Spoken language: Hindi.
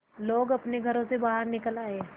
लोग अपने घरों से बाहर निकल आए